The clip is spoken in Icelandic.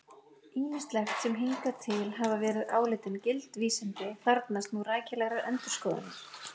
Ýmislegt sem hingað til hafa verið álitin gild vísindi þarfnast nú rækilegrar endurskoðunar!